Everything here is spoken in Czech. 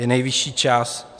Je nejvyšší čas.